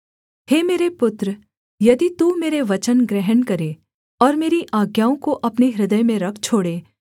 हे मेरे पुत्र यदि तू मेरे वचन ग्रहण करे और मेरी आज्ञाओं को अपने हृदय में रख छोड़े